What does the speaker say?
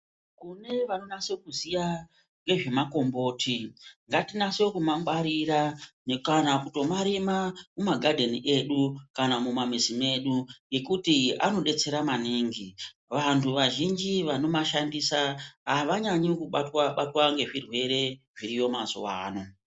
Kune vanonase kuziya nezvemakomboti ngatinyase kumangwarira kana kutomarima mumagadheni edu kana mumamuzi medu ngekuti anodetsera maningi vanhu vazhinji vanomashandisa maningi avanyanyi kubatwa batwa ngezvirwere zviriyo mazuwa ana.